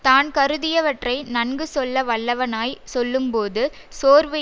தான் கருதியவற்றை நன்கு சொல்ல வல்லவனாய் சொல்லும் போது சோர்வு